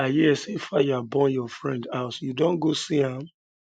um i hear say fire burn your friend house you don go see am